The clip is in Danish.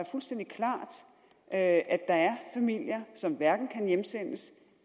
fuldstændig klart at der er familier som hverken kan hjemsendes